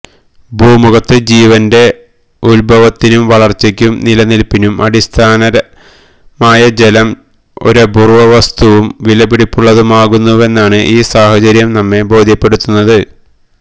ഭൂമുഖത്ത് ജീവന്റെ ഉത്ഭവത്തിനും വളര്ച്ചക്കും നിലനില്പ്പിനും അടിസ്ഥാനമായ ജലം ഒരപൂര്വ വസ്തുവും വിലപിടിച്ചതുമാകുന്നുവെന്നാണ് ഈ സാഹചര്യം നമ്മെ ബോധ്യപ്പെടുത്തുന്നത്